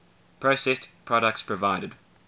processed products provided